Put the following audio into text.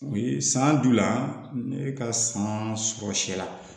U ye san d'u la ne ka san sɔrɔ